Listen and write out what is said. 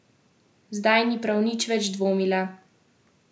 Zdaj ni prav nič več dvomila.